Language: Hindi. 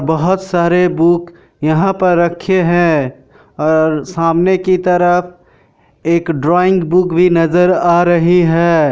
बहुत सारे बुक यहाँ पर रखे है और सामने की तरफ एक ड्रोइंग बुक भी नजर आ रही है।